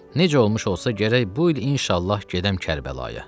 Necə olmuş olsa gərək bu il inşallah gedəm Kərbəlaya.